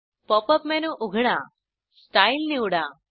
pop up menu उघडा style निवडा